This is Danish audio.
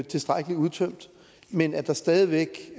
tilstrækkelig udtømt men at der stadig væk